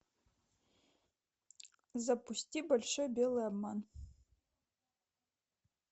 запусти большой белый обман